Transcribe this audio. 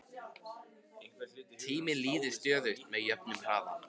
tíminn líður stöðugt með jöfnum hraða